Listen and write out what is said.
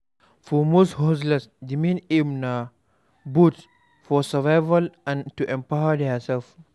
For most hustlers di main aim na both for survival and to empower their self